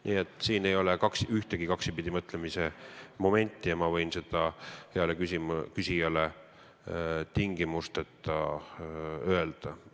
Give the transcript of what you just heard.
Nii et siin ei ole ühtegi kaksipidi mõtlemise momenti ja ma võin seda heale küsijale tingimusteta kinnitada.